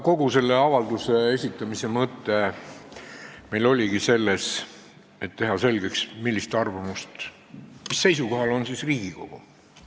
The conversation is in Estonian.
Kogu selle avalduse esitamise mõte oligi meil selles, et teha selgeks, mis seisukohal on Riigikogu.